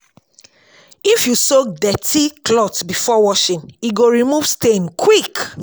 If you soak dirty cloth before washing, e go remove stain quick.